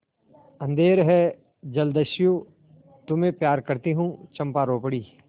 अंधेर है जलदस्यु तुम्हें प्यार करती हूँ चंपा रो पड़ी